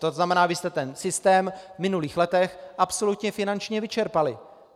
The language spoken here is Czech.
To znamená, vy jste ten systém v minulých letech absolutně finančně vyčerpali.